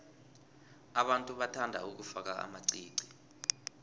abantu bathanda ukufaka amaqiqi